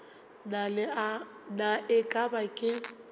na e ka ba ke